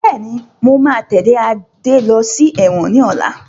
Bẹ́ẹ̀ni, mo máa tẹ́lẹ̀ Adé lọ sí ẹ̀wọ̀n ni ọ̀la